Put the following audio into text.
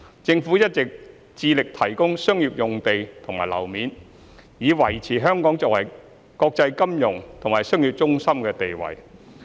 政府一直致力提供商業用地和樓面，以維持香港作為國際金融和商業中心的地位。